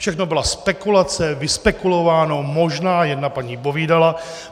Všechno byla spekulace, vyspekulováno, možná, jedna paní povídala.